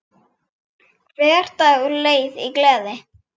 Hver dagur leið í gleði.